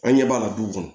An ɲɛ b'a la du kɔnɔ